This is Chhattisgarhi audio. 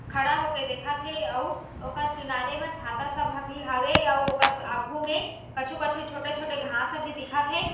खड़ा होके देखत हे अउ ओकर किनारे में छाता सब ह भी हावे अउ ओकर आगू में कछु-कछु छोटे-छोटे घास ह भी दिखत हे।